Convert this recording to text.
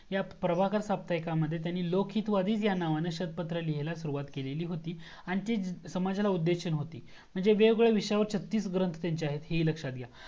ह्या प्रभाकर साप्ताहिकमध्ये त्यांनी लोक हित वादी याच नावाने पत्र लिहायला सुरुवात केली होती आणि ती समजला उद्देशून होती म्हणजे वेगवेगळ्या विषयावर छत्तीस ग्रंथ त्यांचे आहेत हे ही लक्ष्यात घ्या